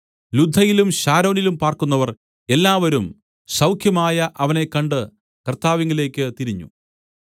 ലുദ്ദയിലും ശാരോനിലും പാർക്കുന്നവർ എല്ലാവരും സൗഖ്യമായ അവനെ കണ്ട് കർത്താവിങ്കലേക്ക് തിരിഞ്ഞു